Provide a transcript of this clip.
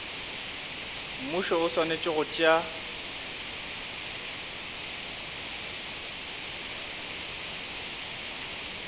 mmušo o swanetše go tšea